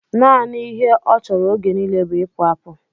Nanị ihe ọ chọrọ oge nile bú ipu apụ